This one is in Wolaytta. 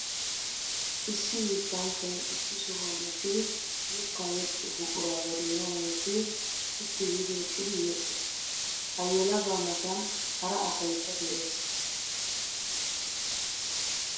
Issi yettanchchay issi sohuwan eqqiddi yetta yexxiyo buqura ba doonan wottiddi sitti giidi eqqiddi yexxees. Ha yelaga matan hara asaykka de'ees.